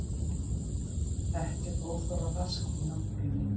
Ekkert óþarfa rask í náttúrunni